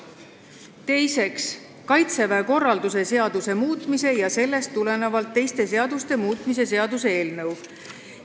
Teiseks, Kaitseväe korralduse seaduse muutmise ja sellest tulenevalt teiste seaduste muutmise seaduse eelnõu.